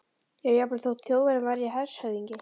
já, jafnvel þótt Þjóðverjinn væri hershöfðingi.